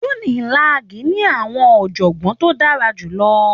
Unilag ní àwọn ọ̀jọ̀gbọ́n tó dára jù lọ.